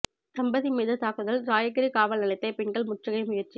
தம்பதி மீது தாக்குதல் ராயகிரி காவல் நிலையத்தை பெண்கள் முற்றுகை முயற்சி